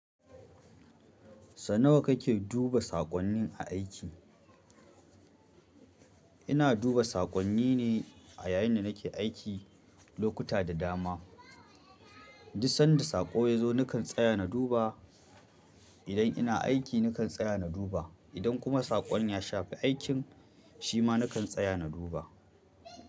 Sau nawa kake duba saƙonnin a aiki? Ina duba saƙonni ne a yayin da nake aiki lokuta da dama. Duk sanda saƙo ya zo nakan tsaya na duba. Idan ina aiki nakan tsaya na duba. Idan kuma saƙon ya shafi aikin shi ma nakan tsaya na duba.